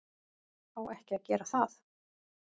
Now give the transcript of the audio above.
Á ekki að gera það.